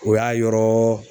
O y'a yɔrɔɔ